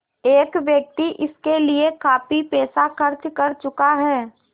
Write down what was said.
एक व्यक्ति इसके लिए काफ़ी पैसा खर्च कर चुका है